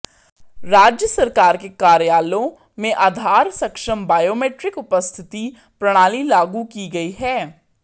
राज्य सरकार के कार्यालयों में आधार सक्षम बायोमीट्रिक उपस्थिति प्रणाली लागू की गई है